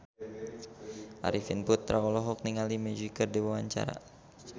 Arifin Putra olohok ningali Magic keur diwawancara